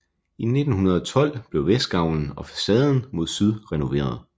I 1912 blev vestgavlen og facaden mod syd renoveret